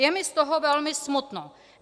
Je mi z toho velmi smutno.